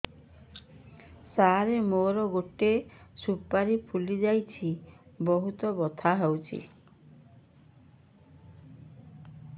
ସାର ମୋର ଗୋଟେ ସୁପାରୀ ଫୁଲିଯାଇଛି ବହୁତ ବଥା ହଉଛି